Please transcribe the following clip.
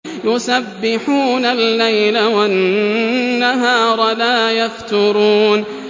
يُسَبِّحُونَ اللَّيْلَ وَالنَّهَارَ لَا يَفْتُرُونَ